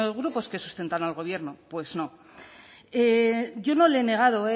grupos que sustentan al gobierno pues no yo no le he negado